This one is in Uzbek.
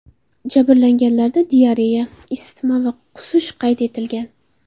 Jabrlanganlarda diareya, isitma va qusish qayd etilgan.